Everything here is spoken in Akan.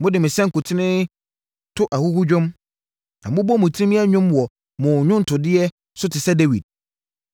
Mode mo sankuten to ahuhudwom, na mobɔ mo tirim yɛ nnwom wɔ mo nnwontodeɛ so te sɛ Dawid.